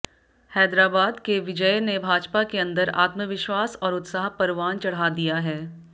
हैदराबाद की विजय ने भाजपा के अंदर आत्मविश्वास और उत्साह परवान चढ़ा दिया है